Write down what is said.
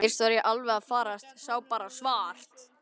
Fyrst var ég alveg að farast, sá bara svart.